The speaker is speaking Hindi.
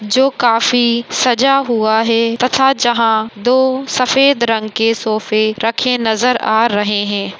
जो काफी सजा हुआ है तथा जहा दो सफ़ेद रंग के सोफ़े रखे नज़र आ रहे है।